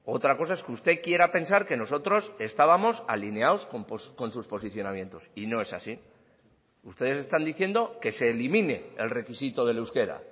otra cosa es que usted quiera pensar que nosotros estábamos alineados con sus posicionamientos y no es así ustedes están diciendo que se elimine el requisito del euskera